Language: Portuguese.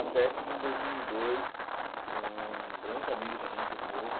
que em dois mil e dois, um grande amigo também, de novo,